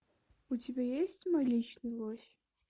у тебя есть мой личный лось